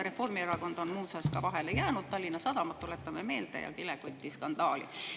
Reformierakond on muuseas sellega ka vahele jäänud, tuletame meelde Tallinna Sadamat ja kilekotiskandaali.